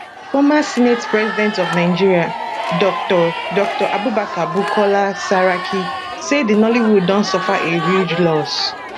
former senate president of nigeria dr dr abubakar bukola saraki say di nollywood don suffer a huge loss